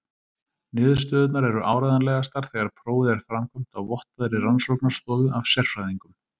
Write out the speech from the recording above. Niðurstöðurnar eru áreiðanlegastar þegar prófið er framkvæmt á vottaðri rannsóknarstofu af sérfræðingum.